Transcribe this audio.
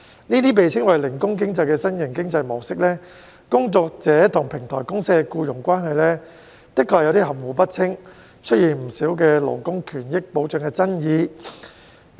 這些被稱為零工經濟的新型經濟模式，工作者與平台公司的僱傭關係的確有點含糊不清，出現不少勞工權益保障的爭議。